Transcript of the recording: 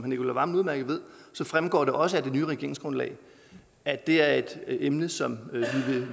nicolai wammen udmærket ved fremgår det også af det nye regeringsgrundlag at det er et emne som